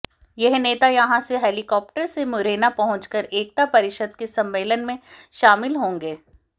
यह नेता यहां से हेलीकॉप्टर से मुरैना पहुंचकर एकता परिषद के सम्मेलन में शामिल होंगे